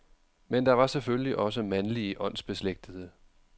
Men der var selvfølgelig også mandlige åndsbeslægtede.